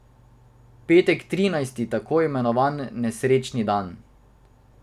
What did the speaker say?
Petek trinajsti, tako imenovan nesrečni dan.